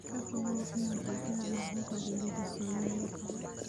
Ka fogow inaad digaaga buka geliso meelo kale.